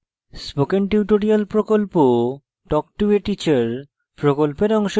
spoken tutorial প্রকল্প talk to a teacher প্রকল্পের অংশবিশেষ